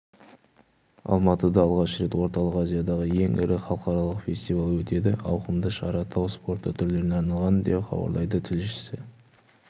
алматыда алғаш рет орталық азиядағы ең ірі халықаралық фестиваль өтеді ауқымды шара тау спорты түрлеріне арналған деп хабарлайды тілшісі